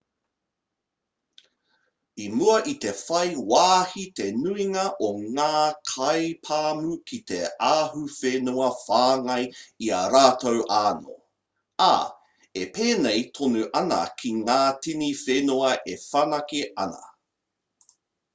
i mua i te whai wāhi te nuinga o ngā kaipāmu ki te ahuwhenua whāngai i a rātou anō ā e pēnei tonu ana ki ngā tini whenua e whanake ana